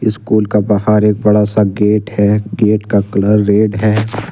School का बाहार एक बड़ा सा गेट है। गेट का कलर रेड है।